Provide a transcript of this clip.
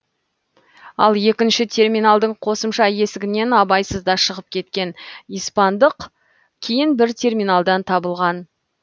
ал екінші терминалдың қосымша есігінен абайсызда шығып кеткен испандық кейін бір терминалдан табылған